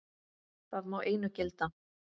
Það má einu gilda.